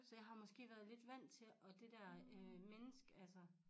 Så jeg har måske været lidt vandt til og det dér øh menneske altså